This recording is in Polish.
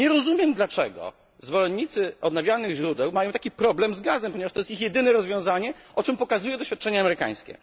Nie rozumiem, dlaczego zwolennicy odnawialnych źródeł mają taki problem z gazem, chociaż jest to ich jedyne rozwiązanie, o czym świadczą doświadczenia amerykańskie.